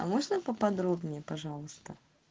а можно поподробнее пожалуйста